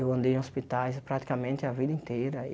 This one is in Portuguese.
Eu andei em hospitais praticamente a vida inteira.